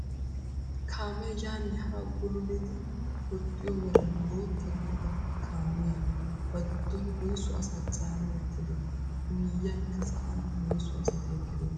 Kaamee yaanne haa bululiidi woxxiyo meran boota gidida kaamiyaa ba giddon woysu asaa caana wottadee? I miyiyaannkka sa'aan woysu asati eqqidoonaa?